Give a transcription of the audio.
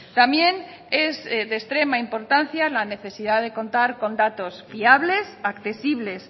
también es de extrema importancia la necesidad de contar con datos fiables accesibles